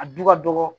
A du ka dɔgɔ